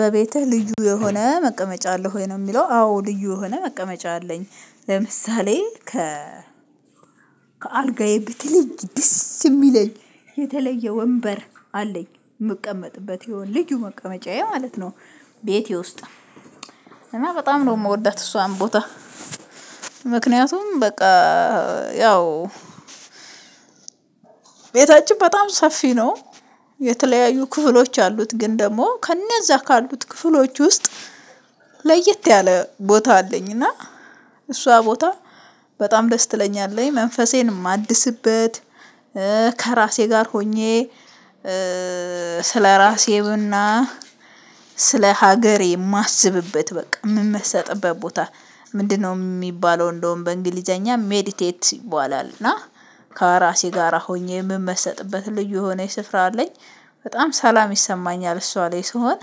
በቤትህ ልዩ የሆነ መቀመጫ አለህ ወይ? ነው የሚለው። አዎ ልዩ የሆነ መቀመጫ አለኝ። ለምሳሌ ከ ከአልጋዬ በተለይ ደስ የሚለኝ የተለየ ወንበር አለኝ የምቀመጥበት የሆነ ልዩ መቀመጫዬ ማለት ነው ቤቴ ውስጥ። እና በጣም ነው የምወዳት እሷን ቦታ ምክንያቱም በቃ ያው ቤታችን በጣም ሰፊ ነው። የተለያዩ ክፍሎች አሉት። ግን ደግሞ ከእነዛ ካሉት ክፍሎች ውስጥ ለየት ያለ ቦታ አለኝ እና እሷ ቦታ በጣም ደስ ትለኛለች መንፈሴን የማድስበት ከራሴ ጋር ሆኜ ስለራሴም እና ስለሀገሬ የማስብበት በቃ የምመሰጥበት ቦታ ምንድነው የሚባለው እንደውም በእንግሊዘኛ ሜዲቴት ይባላል እና ከራሴ ጋራ ሆኜ የምመሰጥበት ልዩ የሆነ ስፍራ። አለኝ በጣም ሰላም ይሰማኛል እሷ ላይ ስሆን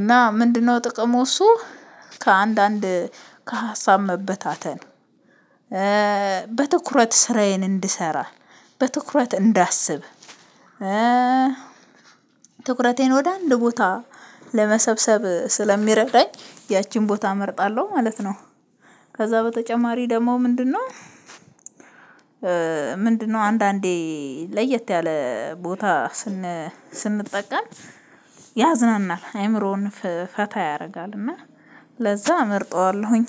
እና ምንድነው ጥቅሙ እሱ ከአንዳንድ ከሀሳብ መበታተን በትኩረት ስራዬን እንድሰራ በትኩረት እንዳስብ ትኩረቴን ወደ አንድ ቦታ ለመሰብሰብ ስለሚረዳኝ ያቺን ቦታ እመርጣለሁ ማለት ነው። ከዛ በተጨማሪ ደግሞ ምንድነው አንዳንዴ ለየት ያለ ቦታ ስንጠቀም ያዝናናል፤ አእምሮን ፈታ ያደርጋል እና ለዛ እመርጠዋለሁኝ።